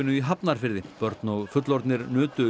í Hafnarfirði börn og fullorðnir nutu